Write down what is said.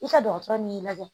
I ka dɔgɔtɔrɔ n'i lajɛ